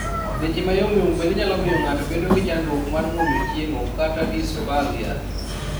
leche ma yomyom bende nyalo miyo ng'ato bedo gi chandruok mar muonyo chiemo (dysphagia).